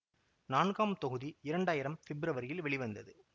நான்காம் தொகுதி இரண்டாயிரம் பிப்ரவரியில் வெளிவந்தது